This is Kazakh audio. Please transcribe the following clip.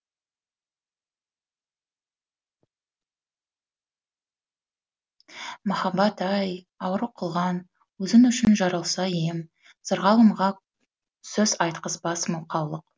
махаббат ай ауру қылған өзің үшін жаралса ем сырғалымға сөз айтқызбас мылқаулық